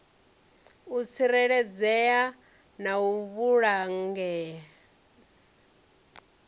u tsireledzea na u vhulangea